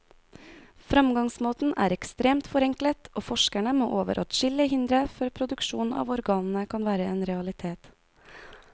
Fremgangsmåten er ekstremt forenklet, og forskerne må over adskillige hindre før produksjon av organene kan være en realitet.